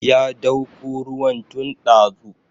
Ya dauko ruwan tun ɗazu